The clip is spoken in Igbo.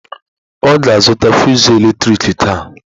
Ọ ga-azụta fụsụ eletrik taa.